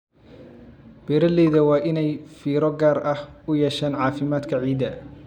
Beeralayda waa inay fiiro gaar ah u yeeshaan caafimaadka ciidda.